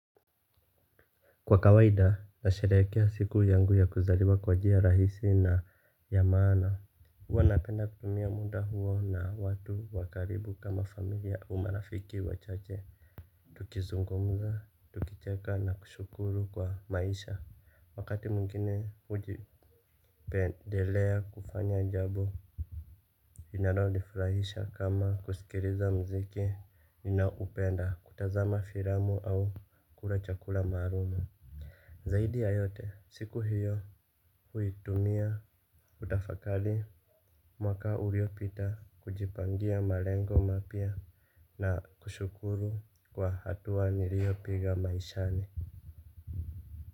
Kwa kawaida, nasherekea siku yangu ya kuzariwa kwa njia rahisi na ya maana. Huwa napenda kutumia muda huo na watu wa karibu kama familia au marafiki wachache. Tukizungumza, tukicheka na kushukuru kwa maisha. Wakati mwingine hujipendelea kufanya jabo. Inaronifrahisha kama kusikiriza mziki. Ninaupenda kutazama firamu au kula chakula maarumu. Zaidi ya yote siku hiyo huitumia kutafakali mwaka uliopita kujipangia malengo mapya na kushukuru kwa hatua niliopiga maishani.